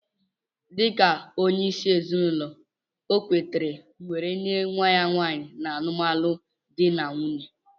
Dika onye isi ezinụlọ okwetere weree nye nwa nwanyi na alụmalụ di n'nwunye.